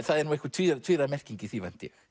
það er nú einhver tvíræð tvíræð merking í því